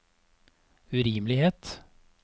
urimelighet